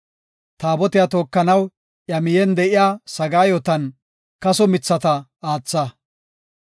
Taabotiya tookanaw iya miyen de7iya sagaayotan kaso mithata aatha.